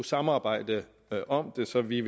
samarbejde om det så vi